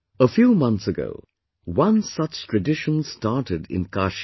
A few months ago, one such tradition started in Kashi